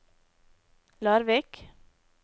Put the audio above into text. Larvik